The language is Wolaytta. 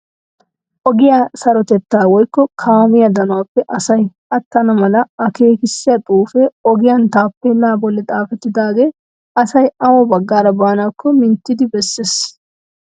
Ogiya sarotettaa woykko kaamiya danuwappe asay attana mala akeekissiya xuufee ogiyan taappeellaa bollan xaafettidaagee asay awa baggaara baanaakko minttidi bessees.